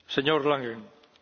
Herr Präsident!